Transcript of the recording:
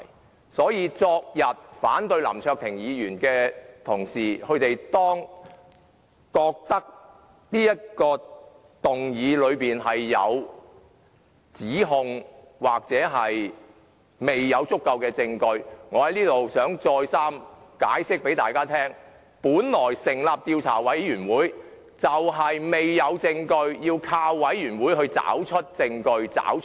因此，若昨天反對林卓廷議員的同事認為這項議案是作出一些指控或是未有足夠的證據，我想在此再三向大家解釋，本來成立專責委員會的原意，就是因為未有證據，所以要靠專責委員會來找出證據、真相。